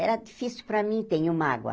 Era difícil para mim tenho mágoa.